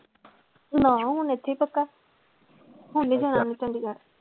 ਨਾ ਹੁਣ ਇੱਥੇ ਹੀ ਪੱਕਾ ਹੁਣ ਨੀ ਜਾਣਾ ਉਹਨੇ ਚੰਡੀਗੜ੍ਹ।